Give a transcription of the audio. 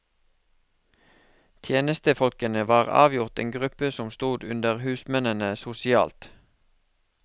Tjenestefolkene var avgjort en gruppe som stod under husmennene sosialt.